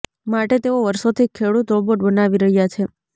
માટે તેઓ વર્ષોથી ખેડુત રોબોટ બનાવી રહ્યા છે